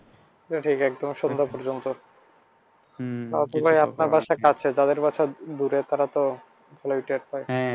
এটা ঠিক একদম তাওতো ভাই আপনার বাসা কাছে যাদের বাসা দূরে তারা তো